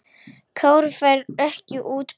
Kári fær ekki útborgað